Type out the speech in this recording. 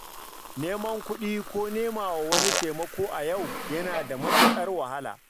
Neman kuɗi ko nemawa wani taimako a yau yana da matuƙar wahala.